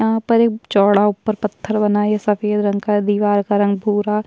यहाँ पर एक चौड़ा उप्पर पत्थर बना है ये सफ़ेद रंग का है दीवार का रंग भूरा।